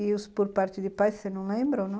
E os por parte de pai, você não lembra ou não?